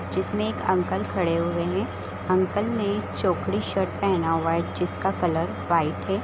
जिसमें एक अंकल खड़े हुए है अंकल ने चोकरी शर्ट पहना हुआ है जिसका कलर वाइट है ।